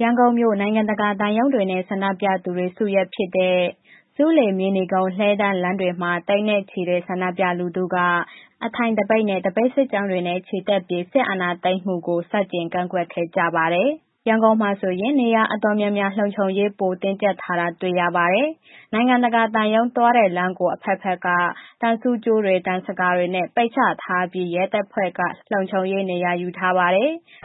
ရန်ကုန်မြို့ နိုင်ငံတကာ သံရုံးတွေနဲ့ ဆန္ဒပြသူတွေ စုရပ်ဖြစ်တဲ့ ဆူးလေ၊ မြေနီကုန်း၊ လှည်းတန်းလမ်းတွေမှာ သိန်းနဲ့ချီတဲ့ ဆန္ဒပြလူထုက အထိုင်သပိတ်နဲ့ သပိတ်စစ်ကြောင်းတွေနဲ့ ချီတက်ပြီး စစ်အာဏာသိမ်းမှုကို ဆန်ကျင်ကန့်ကွက်ခဲ့ကြပါတယ်။ ရန်ကုန်မှာဆိုရင် နေရာအတော်များများ လုံခြုံရေး ပိုတင်းကြပ်ထားတာ တွေ့ရပါတယ်။ နိုင်ငံတကာ သံရုံးတွေ သွားလမ်းတဲ့ကို အဘက်ဘက်က သံဆူးကြိုးတွေ၊ သံဇကာတွေနဲ့ ပိတ်ချထားပြီး ရဲတပ်ဖွဲ့က လုံခြုံရေးနေရာထားပါတယ်။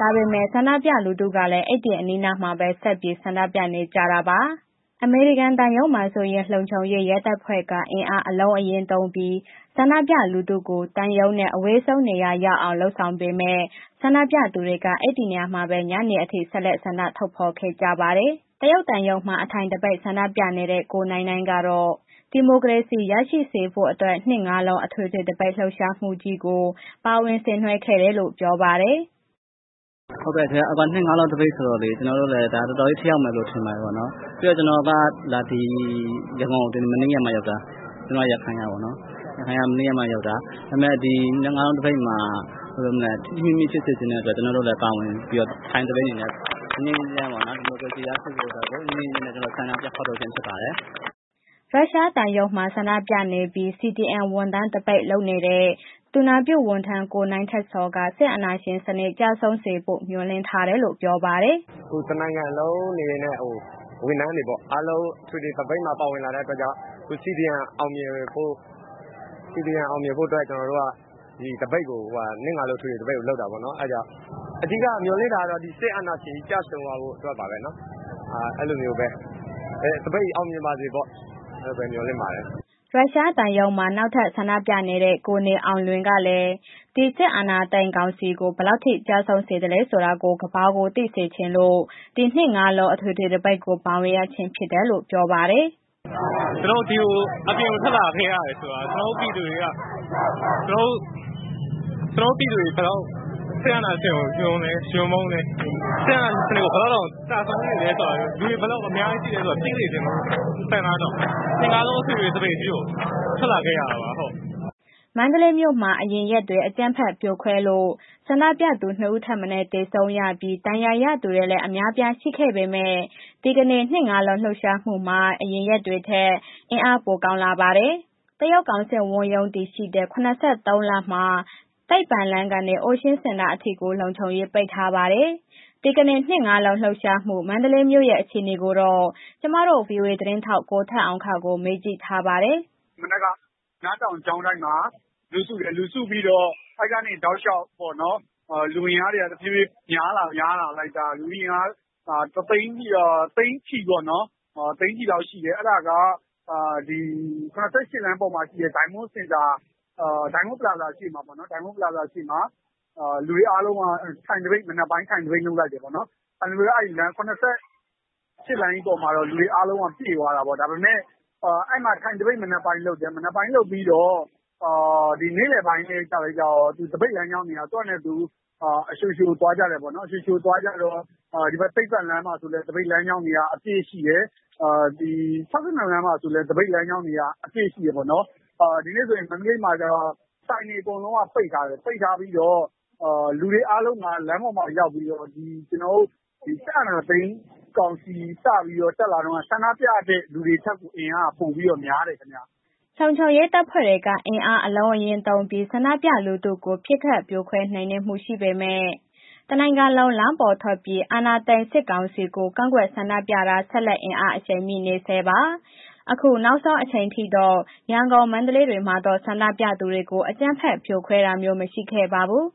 ဒါပေမဲ့ ဆန္ဒပြလူထုတွေကလည်း အဲ့ဒီအနီးအနားမှာပဲ ဆက်ပြီး ဆန္ဒပြနေကြတာပါ။ အမေရိကန်သံရုံးမှာဆိုရင် လုံခြုံရေး ရဲတပ်ဖွဲ့က အင်းအားအလုံးအရင်းသုံးပြီး ဆန္ဒပြလူထုကို သံရုံးနဲ့ အဝေးဆုံးနေရာရောက်အောင် လုပ်ဆောင်ပေမဲ့ ဆန္ဒပြသူတွေက အဲ့ဒီနေရာမှာပဲ ညနေအထိ ဆက်လက်ဆန္ဒထုတ်ဖော်ခဲ့ကြပါတယ်။ တရုတ်သံရုံးမှာ အထိုင်သပိတ်ဆန္ဒပြနေတဲ့ ကိုနိုင်နိုင်ကတော့ ဒီမိုကရေစီရရှိဖို့အတွက် နှစ်ငါးလုံးအထွေထွေသပိတ် လှုပ်ရှားမှုကြီးကို ပါဝင်ဆင်နွှဲတယ်လို့ ပြောပါတယ်။ “ဟုတ်ကဲ့။ နှစ်ငါးလုံးသပိတ်ဆိုတော့ ကျနော်တို့လည်း တော်တော်ထိရောက်မယ်လို့ ထင်တယ်ပေါ့နော်။ ပြီးတော့ ကျနော်က ရန်ကုန်ကို မနေ့ကမှ ရောက်တာ။ ကျနော် ရခိုင်ကပေါ့နော်။ ရခိုင်က မနေ့ကမှ ရောက်တယ်။ ဒါပေမဲ့ ဒီနှစ်ငါးလုံး သပိတ်မှာ ထိထိမိမိဖြစ်စေချင်တဲ့အတွက် ကျနော်တို့လည်း ပါဝင်ပြီးတော့ ထိုင်သပိတ်အနေနဲ့ ငြိမ်းငြိမ်းချမ်းချမ်းပေါ့နော်။ ဒီမိုကရေစီရရှိဖို့အတွက်ကို ငြိမ်းငြိမ်းချမ်းချမ်းနဲ့ ကျနော် ဆန္ဒထုတ်ဖော်ခြင်းဖြစ်ပါတယ်။” ရုရှားသံရုံးမှာ ဆန္ဒပြနေပြီး CDM ဝန်ထမ်းသပိတ် လုပ်နေတဲ့ သူနာပြုဝန်ထမ်း ကိုနိုင်ထက်ဇော်က စစ်အာဏာရှင်စနစ် ကျဆုံးစေဖို့ မျှော်လင့်ထားတယ်လို့ ပြောပါတယ်။ “တစ်နိုင်ငံလုံးအနေနဲ့ ဝန်ထမ်းတွေပေါ့... အားလုံးအထွေထွေသပိတ်မှာ ပါဝင်လာတဲ့အတွက်ကြောင့် CDM အောင်မြင်ဖို့အတွက် ကျနော်တို့က ဒီသပိတ်ကို နှစ်ငါးလုံးအထွေထွေကို လုပ်တာပေါ့နော်။ အဓိက မျှော်လင့်တာက ဒီစစ်အာဏာရှင်ကို ကျဆုံးသွားဖို့အတွက်ပါပဲနော်။ သပိတ်အောင်မြင်ပါစေပေါ့... အဲ့ဒီလိုပဲ မျှော်လင့်ပါတယ်။” ရုရှားသံရုံးမှာ နောက်ထပ် ဆန္ဒပြနေတဲ့ ကိုနေအောင်လွင်ကလည်း ဒီအာဏာသိမ်းစစ်ကောင်စီကို ဘယ်လောက်ထိကျဆုံးစေသလဲဆိုတာကို ကမ္ဘာကိုသိစေချင်လို့ နှစ်ငါးလုံးအထွေထွေသပိတ်ကို ပါဝင်ရခြင်းဖြစ်တယ်လို့ ပြောပါတယ်။ “ကျနော်တို့ အပြင်ကို ထွက်လာခဲ့တယ်ဆိုတာ ကျနော်တို့ ပြည်သူတွေက ကျနော်တု့ိ ပြည်သူတွေ ဘယ်လောက် စစ်အာဏာရှင်ကို ရွံလဲ၊ ရွံမုန်းလဲ စစ်အာဏာရှင်စနစ်ကို ဘယ်လောက်ကျဆုံးစေသလဲဆိုတာကို လူတွေဘယ်လောက်အများကြီးရှိလဲ သိစေချင်တဲ့ ဆန္ဒကြောင့် နှစ်ငါးလုံး အထွေထွေသပိတ်ကြီးကို ထွက်လာခဲ့ရတာပါ။” မန္တလေးမြို့မှာ အရင်ရက်တွေ အကြမ်းဖက်ဖြိုခွဲလို့ ဆန္ဒပြသူ နှစ်ဦးထက်မနည်းသေဆုံးရပြီး ဒဏ်ရာရသူတွေလည်း အများအပြားရှိခဲ့ပေမဲ့ ဒီကနေ့ နှစ်ငါးလုံးလှုပ်ရှားမှုမှာ အရင်ရက်တွေထက် အင်အားပိုကောင်းလာပါတယ်။ တရုတ်ကောင်စစ်ဝန်ရုံးတည်ရှိတဲ့ ၇၃ လမ်းမှာ သိပ္ပံလမ်းကနေ အိုးရှင်းစင်တာအထိကို လုံခြုံရေး ပိတ်ထားပါတယ်။ ဒီကနေ့ နှစ်ငါးလုံးလှုပ်ရှားမှု မန္တလေးမြို့ရဲ့အခြေအနေကိုတော့ ကျမတို့ ဗွီအိုအေသတင်းထောက် ကိုထက်အောင်ခန့်ကို မေးကြည့်ထားပါတယ်။ “မနက်က မြတောင်ကျောင်းတိုက်မှာ လူစုတယ်။ လူစုပြီးတော့ အဲ့ဒီကနေ တောက်လျှောက်ပေါ့နော်... လူအင်အားက တဖြေးဖြေး များလာလိုက်တာ... လူအင်အားသိန်းချီပေါ့နော်... သိန်းချီလောက်ရှိတယ်။ အဲ့ဒါ ၇၈ လမ်းပေါ်မှာရှိတဲ့ ဒိုင်းမွန်ပလာဇာရှေ့မှာ လူတွေအားလုံးက မနက်ပိုင်း ထိုင်သပိတ်လုပ်လိုက်တယ်ပေါ့နော်။ ၇၈ လမ်းပေါ်က လူတွေအားလုံးပြည့်သွားတာပေ့ါ။ ဒါပေမဲ့ အဲ့ဒီမှာ ထိုင်သပိတ် မနက်ပိုင်းလုပ်တယ်။ မနက်ပိုင်းလုပ်ပြီးတော့ ဒီနေ့လယ်ပိုင်းကျတော့ သပိတ်လမ်းကြောင်းတွေက သူ့ဟာနဲ့သူ အလျှိုလျှိုသွားကြတယ်ပေ့ါနော်။ သိပ္ပံလမ်းဆိုလည်း သပိတ်လမ်းကြောင်းတွေက အပြည့်ရှိတယ်။ ၆၂ လမ်းဆိုလည်း သပိတ်လမ်းကြောင်းတွေက အပြည့်ရှိတယ်ပေါ့နော်။ ဒီနေ့ဆိုရင် မန္တလေးမှာကျတော့ ဆိုင်တွေ အကုန်လုံးက ပိတ်ထားတယ်။ ပိတ်ထားပြီးတော့ လူတွေအားလုံးက လမ်းပေါ်မှာရောက်ပြီးတော့ ဒီစစ်အာဏာသိမ်းကောင်စီ စပြီး တက်လာတုန်းက ဆန္ဒပြတဲ့လူတွေထက်အင်အားပိုများတယ်ခင်ဗျ။” လုံခြုံရေးတပ်ဖွဲ့တွေက အင်အား အလုံးအရင်းသုံးပြီး ဆန္ဒပြလူထုကို ပစ်ခတ်ဖြိုခွဲ နှိမ်နင်းမှုရှိပေမယ့် တစ်နိုင်ငံလုံး လမ်းပေါ်ထွက်ပြီး အာဏာသိမ်းစစ်ကောင်စီကို ကန့်ကွက်ဆန္ဒပြတာ ဆက်လက် အင်အားအရှိန်မြင့်နေဆဲပါ။ အခုနောက်ဆုံးအချိန်ထိတော့ ရန်ကုန်၊ မန္တလေးမြို့တွေမှာ ဆန္ဒပြသူတွေကို အကြမ်းဖက်ဖြိုခွဲတာမျိုး မရှိခဲ့ပါဘူး